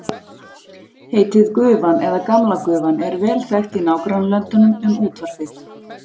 Heitið gufan eða gamla gufan er vel þekkt í nágrannalöndunum um útvarpið.